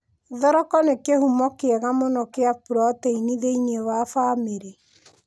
Thoroka nĩ kĩhumo kĩega mũno kĩa purotĩini thĩiniĩ wa bamĩrĩ.